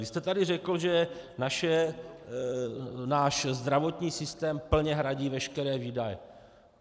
Když jste tady řekl, že náš zdravotní systém plně hradí veškeré výdaje.